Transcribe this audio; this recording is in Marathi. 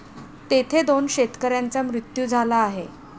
तेथे दोन शेतकऱ्यांचा मृत्यू झाला आहे.